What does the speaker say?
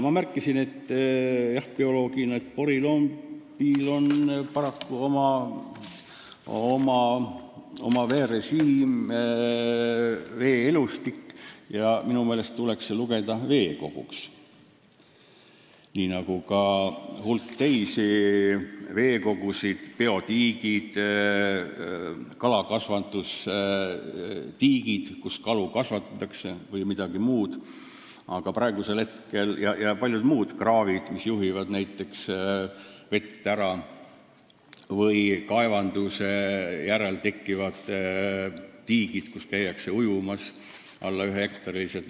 Mina märkisin bioloogina, et jah, porilombil on paraku oma veerežiim, vee-elustik, ja minu meelest tuleks see lugeda veekoguks, nii nagu ka hulk teisi veekogusid, nagu biotiigid, kalakasvatustiigid, kus kalu kasvatatakse, ja ka kraavid, mis juhivad vett ära, või kaevandamise järel tekkivad tiigid, kus käiakse ujumas ja mis on väiksemad kui üks hektar.